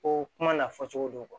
Ko kuma n'a fɔcogo don